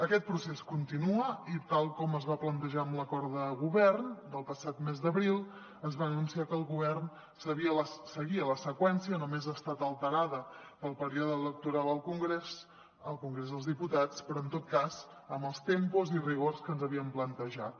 aquest procés continua i tal com es va plantejar en l’acord de govern del passat mes d’abril es va anunciar que el govern seguia la seqüència només ha estat alterada pel període electoral al congrés al congrés dels diputats però en tot cas amb els tempos i rigor que ens havíem plantejat